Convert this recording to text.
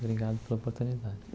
Obrigado pela oportunidade.